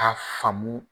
K'a faamu